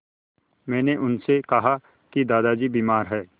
मैंने उनसे कहा कि दादाजी बीमार हैं